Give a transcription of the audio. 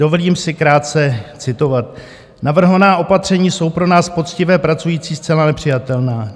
Dovolím si krátce citovat: "Navrhovaná opatření jsou pro nás, poctivé pracující, zcela nepřijatelná.